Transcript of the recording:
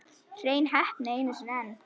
Hrein heppni einu sinni enn.